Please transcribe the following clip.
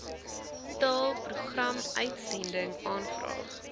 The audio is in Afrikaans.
taal programuitsending aanvraag